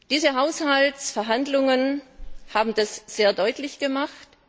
Diese Haushaltsverhandlungen haben das sehr deutlich gemacht.